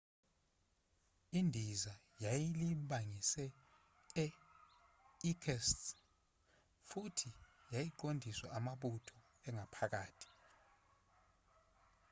indiza yayilibangise e-irkutsk futhi yayiqondiswa amabutho angaphakathi